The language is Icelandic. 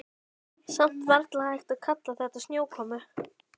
Samt varla hægt að kalla þetta snjókomu.